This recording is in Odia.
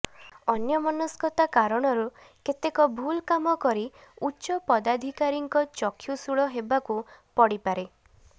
ଅନ୍ୟମନସ୍କତା କାରଣରୁ କେତେକ ଭୁଲ କାମ କରି ଉଚ୍ଚ ପଦାଧିକାରୀଙ୍କ ଚକ୍ଷୁଶୂଳ ହେବାକୁ ପଡିପାରେ